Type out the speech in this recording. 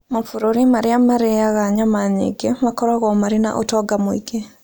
Mabũrũri marĩa marĩa marĩaga nyama nyingĩ makoragwo marĩ na ũtonga mũingĩ.